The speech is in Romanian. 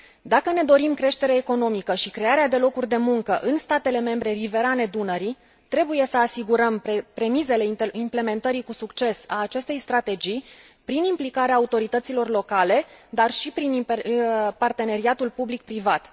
Dacă ne dorim creștere economică și crearea de locuri de muncă în statele membre riverane Dunării trebuie să asigurăm premizele implementării cu succes a acestei strategii, prin implicarea autorităților locale, dar și prin parteneriatul public privat.